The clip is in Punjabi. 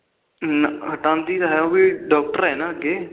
ਹਟਾਦੀ ਤਾ ਹੈਗੀ ਉਹ ਵੀ ਡੋਕਟਰ ਆ ਅਗੇ